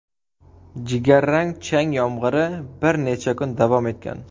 Jigarrang chang yomg‘iri bir necha kun davom etgan.